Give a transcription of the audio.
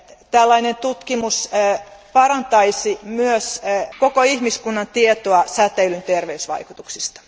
Tällainen tutkimus parantaisi myös koko ihmiskunnan tietoa säteilyn terveysvaikutuksista.